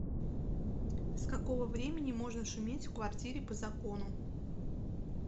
с какого времени можно шуметь в квартире по закону